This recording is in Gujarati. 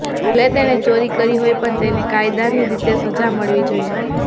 ભલે તેણે ચોરી કરી હોય પણ તેને કાયદાની રીતે સજા મળવી જોઈએ